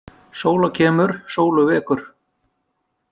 Sóla kemur sólu vekur.